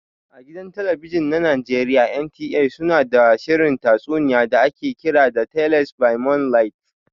A gidan talabijin na Najeriya NTA su na da shirin tatsuniya da ake kira "Tales by moonlight".